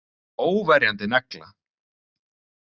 Óverjandi negla.